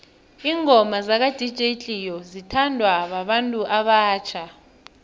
ingoma zaka dj cleo zithanwa babantu abatjha